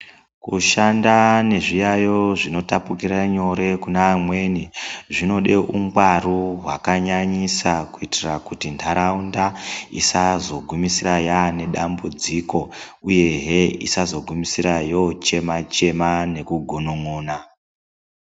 Kushanda nezviyaiyo zvinotapukira nyore kune amweni zvinode ungwaru hwakanyanyisa. Kuitira kuti nharaunda isazogumisira yaane dambudziko, uyehe isazogumisira yochema-chema nekugunun'una.